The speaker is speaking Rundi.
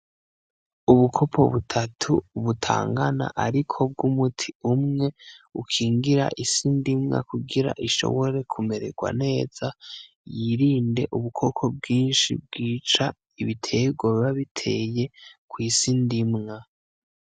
Ubukopo butatu butangana, ariko bw’umuti umwe ukingira isi ndimwa kugira ishobore kumererwa neza yirinde ubukoko bwinshi bwica ibiterwa biba biteye kw’isi ndimwa.